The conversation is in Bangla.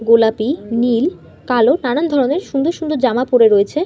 গোলাপি নীল কালো নানান ধরণের সুন্দর সুন্দর জামা পরে রয়েছে।